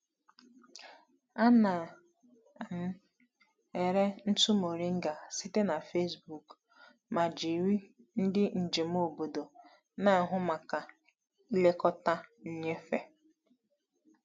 Ana m ere ntụ moringa site na Facebook ma jiri ndị njem obodo na-ahụ maka ilekọta nnyefe.